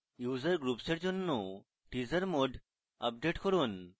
user groups এর জন্য teaser mode update করুন